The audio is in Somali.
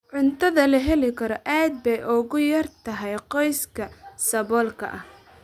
Cuntada la heli karo aad bay ugu yar tahay qoysaska saboolka ah.